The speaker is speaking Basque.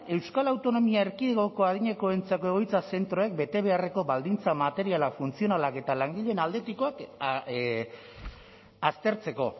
euskal autonomia erkidegoko adinekoentzako egoitza zentroek bete beharreko baldintza materialak funtzionalak eta langileen aldetikoak aztertzeko